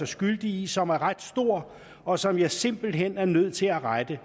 skyldig i som var ret stor og som jeg simpelt hen var nødt til at rette